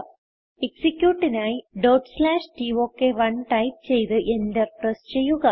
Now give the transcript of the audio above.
എക്സിക്യൂട്ടിനായി ടോക്ക്1 ടൈപ്പ് ചെയ്ത് enter press ചെയ്യുക